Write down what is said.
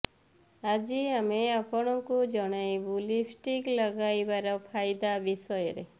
ଆଜି ଆମେ ଆପଣଙ୍କୁ ଜଣାଇବୁ ଲିପଷ୍ଟିକ୍ ଲଗାଇବାର ଫାଇଦା ବିଷୟରେ